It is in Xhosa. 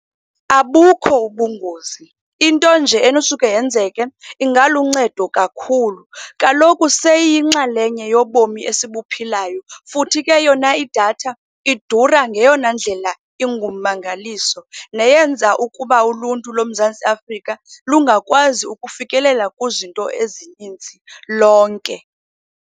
Abukho ubungozi. Into nje enosuke yenzeke, ingaluncedo kakhulu. Kaloku seyiyinxalenye yobomi esibuphilayo futhi ke yona idatha, idura ngeyona ndlela ingumangaliso neyenza ukuba uluntu loMzantsi Afrika lungakwazi ukufikelela kwizinto ezininzi lonke.